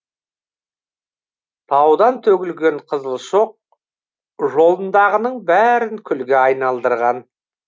таудан төгілген қызыл шоқ жолындағының бәрін күлге айналдырған